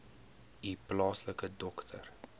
u plaaslike dokter